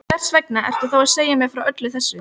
Hversvegna ertu þá að segja mér frá öllu þessu?